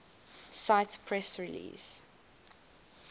cite press release